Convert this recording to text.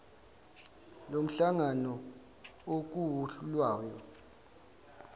lomhlangano okuwuhlu lwayo